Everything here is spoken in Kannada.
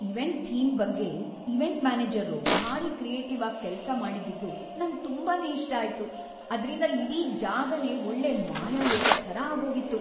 ಇವೆಂಟ್ ಥೀಮ್ ಬಗ್ಗೆ ಇವೆಂಟ್ ಮ್ಯಾನೇಜರ್ರು ಭಾರಿ ಕ್ರಿಯೇಟಿವ್‌ ಆಗ್‌ ಕೆಲ್ಸ ಮಾಡಿದ್ದಿದ್ದು ನಂಗ್‌ ತುಂಬಾನೇ ಇಷ್ಟ ಆಯ್ತು, ಅದ್ರಿಂದ ಇಡೀ ಜಾಗನೇ ಒಳ್ಳೆ ಮಾಯಾಲೋಕದ್‌ ಥರ ಆಗೋಗಿತ್ತು.